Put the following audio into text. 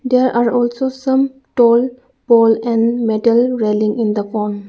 There are also some tall pole and metal railling in the pond.